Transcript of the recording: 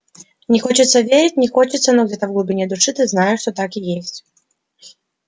не хочется верить не хочется но где-то в глубине души ты знаешь что так и есть